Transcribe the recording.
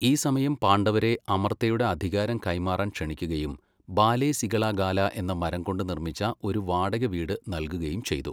ഈ സമയം പാണ്ഡവരെ അമർത്തയുടെ അധികാരം കൈമാറാൻ ക്ഷണിക്കുകയും ബാലെ സിഗള ഗാല എന്ന മരം കൊണ്ട് നിർമ്മിച്ച ഒരു വാടക വീട് നൽകുകയും ചെയ്തു.